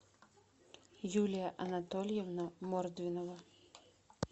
юлия анатольевна мордвинова